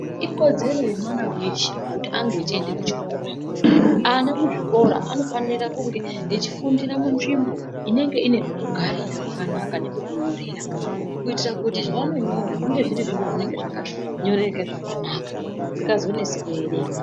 Ikodzero yemwana veshe kuti ange echiende kuchikora. Ana kuzvikora anofanira kunge echifundira munzvimbo inenge ine pekugara pakanaka nepekunyorera. Kuitire kuti zvaanonyora zvinge zviri zvakanyoreka zvakanaka zvisikazonesi kuerenga.